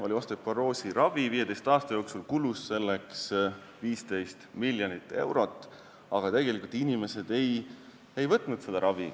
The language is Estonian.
Oli osteoporoosi ravi, 15 aasta jooksul kulus selleks 15 miljonit eurot, aga tegelikult inimesed ei kasutanud seda.